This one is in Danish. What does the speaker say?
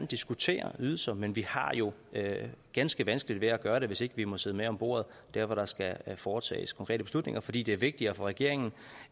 diskutere ydelser men vi har jo ganske vanskeligt ved at gøre det hvis ikke vi må sidde med ved bordet hvor der skal foretages konkrete beslutninger fordi det er vigtigere for regeringen